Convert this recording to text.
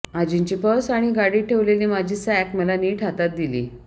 आजींची purse आणि गाडीत ठेवलेली माझी सॅक मला नीट हातात दिली